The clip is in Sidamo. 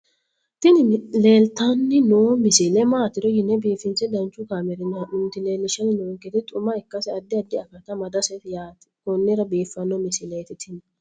tini leeltanni noo misile maaati yiniro biifinse danchu kaamerinni haa'noonnita leellishshanni nonketi xuma ikkase addi addi akata amadaseeti yaate konnira biiffanno misileeti tini